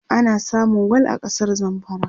ana samun gwal a kasar zamfara